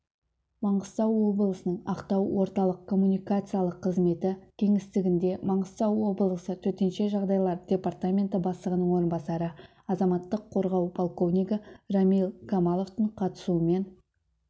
маңғыстау облысының ақтау орталық коммуникациялық қызметі кеңістігінде маңғыстау облысы төтенше жағдайлар департаменті бастығының орынбасары азаматтық қорғау полковнигі рамиль камаловтың қатысуымен